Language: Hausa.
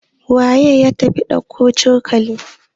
waye ya tafi dauko cokalin?